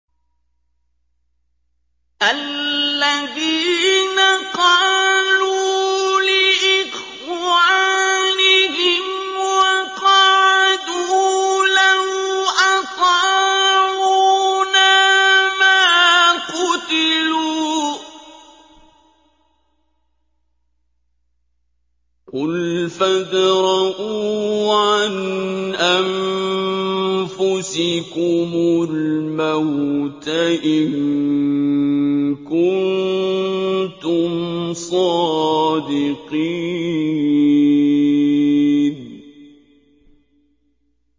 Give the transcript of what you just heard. الَّذِينَ قَالُوا لِإِخْوَانِهِمْ وَقَعَدُوا لَوْ أَطَاعُونَا مَا قُتِلُوا ۗ قُلْ فَادْرَءُوا عَنْ أَنفُسِكُمُ الْمَوْتَ إِن كُنتُمْ صَادِقِينَ